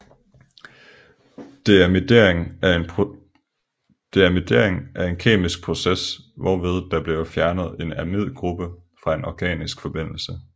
Deamidering er en kemisk process hvorved der bliver fjernet en amidgruppe fra en organisk forbindelse